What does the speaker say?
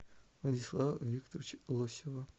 владислава викторовича лосева